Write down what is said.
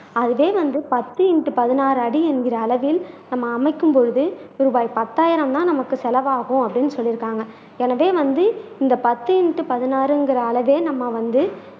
அதே வந்து பத்து இண்டு பதினாறு அடி என்கிற அளவில் நம் அமைக்கும் பொழுது ரூபாய் பத்தாயிரம் தான் நமக்கு செலவாகும் அப்படின்னு சொல்லி இருக்காங்க எனவே வந்து இந்த பத்து இண்டு பதினாறு என்கிற அளவே நம்ம வந்து